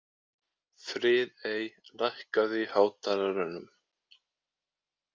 Friðey, lækkaðu í hátalaranum.